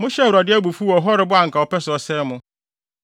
Mohyɛɛ Awurade abufuw wɔ Horeb a anka ɔpɛ sɛ ɔsɛe mo.